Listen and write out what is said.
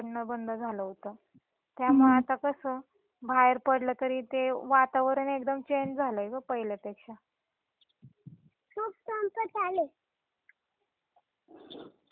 त्यामुळे आता कस बाहेर पडल तरी ते वातावरण एकदम चेंज झालय गं पहिल्या पेक्षा Kid Talking.